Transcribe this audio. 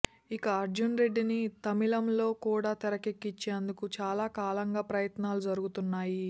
ఇక అర్జున్ రెడ్డిని తమిళంలో కూడా తెరకెక్కించేందుకు చాలా కాలంగా ప్రయత్నాలు జరుగుతున్నాయి